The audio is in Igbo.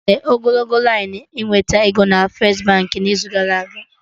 Enwere ogologo lainụ ịnweta ego na First Baankị n'izu gara aga